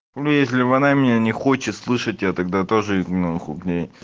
ну не если бы она меня не хочет слышать я тогда тоже и нахуй к ней